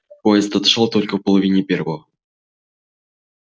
поезд отошёл только в половине первого